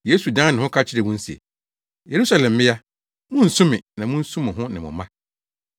Yesu dan ne ho ka kyerɛɛ wɔn se, “Yerusalem mmea, munnsu me na munsu mo ho ne mo mma.